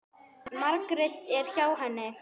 Margrét er hjá henni.